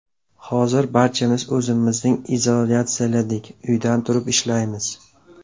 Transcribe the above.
Hozir barchamiz o‘zimizni izolyatsiyaladik, uydan turib ishlaymiz.